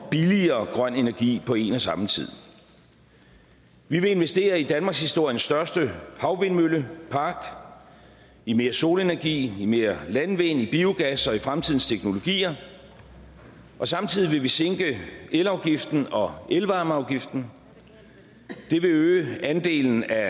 billigere grøn energi på en og samme tid vi vil investere i danmarkshistoriens største havvindmøllepark i mere solenergi i mere landvind i biogas og i fremtidens teknologier og samtidig vil vi sænke elafgiften og elvarmeafgiften det vil øge andelen af